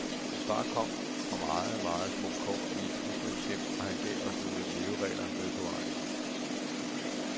Min far kom fra meget, meget små kår i et husmandshjem, og han gav os nogle leveregler med på vejen.